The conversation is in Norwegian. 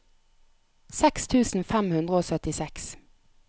seks tusen fem hundre og syttiseks